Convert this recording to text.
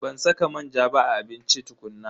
Ban saka manja ba a abincin tukuna.